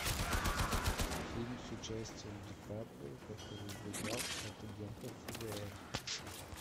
фильм с участием ди каприо который убегал от агентов фбр